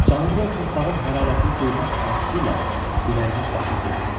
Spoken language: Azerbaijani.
Canında o torpağın hərarətini duymaq arzusu ilə ürəyinin başı göynədi.